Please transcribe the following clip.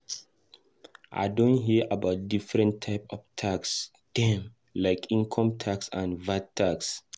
I don hear about different types of tax dem, like income tax and VAT tax.